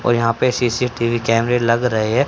और यहां पे सी_सी_टी_वी कैमरे लग रहे है।